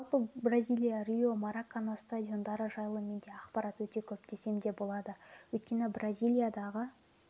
жалпы бразилия рио маракана стадиондары жайлы менде ақпарат өте көп десем де болады өйткені бразилиядағы